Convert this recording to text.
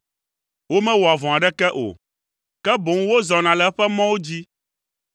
Womewɔa vɔ̃ aɖeke o; ke boŋ wozɔna le eƒe mɔwo dzi.